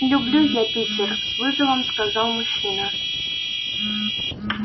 люблю я питер с вызовом сказал мужчина